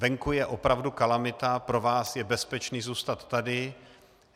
Venku je opravdu kalamita, pro vás je bezpečné zůstat tady.